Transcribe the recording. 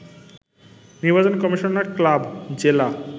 নির্বাচন commissioner club, জেলা